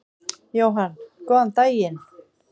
Jóhann: Góðan daginn.